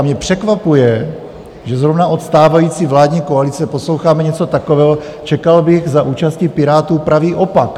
A mě překvapuje, že zrovna od stávající vládní koalice posloucháme něco takového, čekal bych za účasti Pirátů pravý opak.